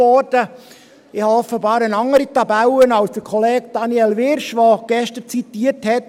Ich habe offenbar eine andere Tabelle als Kollege Daniel Wyrsch, der gestern zitiert hat …